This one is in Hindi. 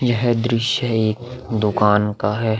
यह दृश्य है एक दुकान का है।